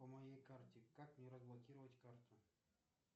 по моей карте как мне разблокировать карту